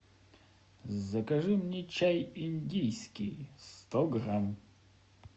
закажи мне чай индийский сто грамм